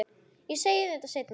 Ég segi henni þetta seinna.